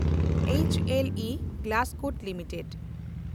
H L E Glascoat limited